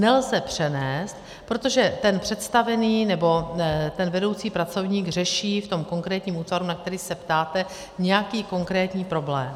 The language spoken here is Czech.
Nelze přenést, protože ten představený, nebo ten vedoucí pracovník, řeší v tom konkrétním útvaru, na který se ptáte, nějaký konkrétní problém.